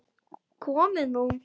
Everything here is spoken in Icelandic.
Komið nú